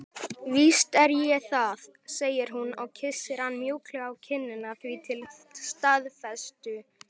Víst er ég það, segir hún og kyssir hann mjúklega á kinnina því til staðfestu.